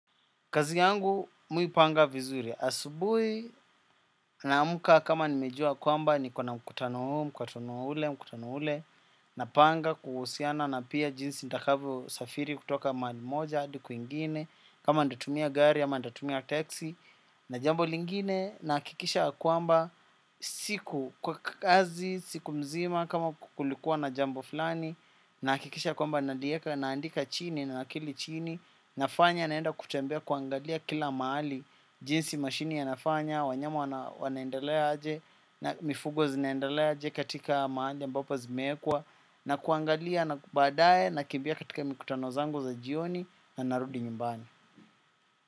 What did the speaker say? Kazi yangu mimi huipanga vizuri asubuhi na amka kama nimejua kwamba niko na mkutano huu, mkutano ule, mkutano ule napanga kuhusiana na pia jinsi ntakavyo safiri kutoka mahali moja hadi kwingine kama ntatumia gari ama ntatumia taxi na jambo lingine na hakikisha ya kwamba siku, kwa kazi siku mzima kama kulikuwa na jambo fulani na hakikisha kwamba nalieka na andika chini na nakili chini na fanya naenda kutembea kuangalia kila mahali, jinsi mashini yana fanya, wanyama wanaendelea aje na mifugo zinaendelea aje katika mahali ambapo zimewekwa na kuangalia na badaye na kimbia katika mikutano zangu za jioni na narudi nyumbani.